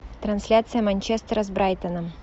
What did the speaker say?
трансляция манчестера с брайтоном